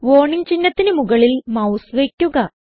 warning ചിഹ്നത്തിന് മുകളിൽ mouse വയ്ക്കുക